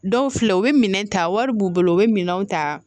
Dɔw filɛ u bɛ minɛn ta wari b'u bolo u bɛ minɛn ta